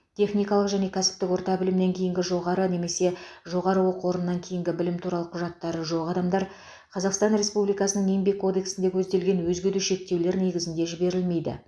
техникалық және кәсіптік орта білімнен кейінгі жоғары немесе жоғары оқу орнынан кейінгі білімі туралы құжаттары жоқ адамдар қазақстан республикасының еңбек кодексінде көзделген өзге де шектеулер негізінде жіберілмейді